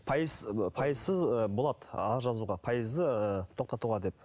пайыз пайызсыз ы болады арыз жазуға пайызды тоқтатуға деп